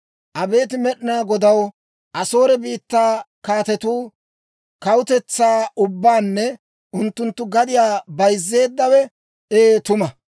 «Abeet Med'inaa Godaw, Asoore biittaa kaatetuu kawutetsaa ubbaanne unttunttu gadiyaa bayzzeeddawe ee tuma.